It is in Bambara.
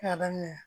K'a daminɛ